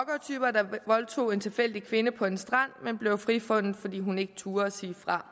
voldtog en tilfældig kvinde på en strand men blev frifundet fordi hun ikke turde sige fra